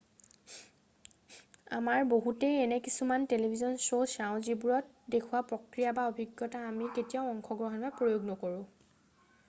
আমাৰ বহুতেই এনে কিছুমান টেলিভিছন শ্ব' চাওঁ যিবোৰত দেখুওৱা প্ৰক্ৰিয়া বা অভিজ্ঞতাত আমি কেতিয়াও অংশগ্ৰহণ বা প্ৰয়োগ নকৰোঁ